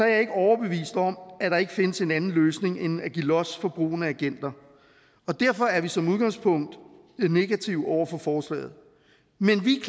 jeg ikke overbevist om at der ikke findes en anden løsning end at give los for brugen af agenter derfor er vi som udgangspunkt negative over for forslaget men vi